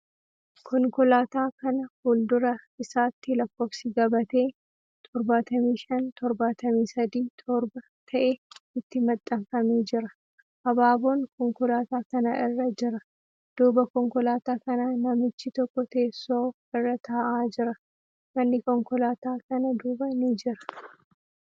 Konkolaataa kana fuuldura isaatti lakkoofsi gabatee 75737 ta'e itti maxxanfamee jira. Habaaboon konkolaataa kana irra jira. Duuba konkolaataa kanaa, namichi tokko teessoo irra taa'aa jira. Manni konkolaataa kana duuba ni jira.